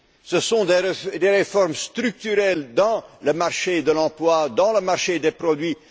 parlé ce sont les réformes structurelles dans le marché de l'emploi et dans le marché des produits.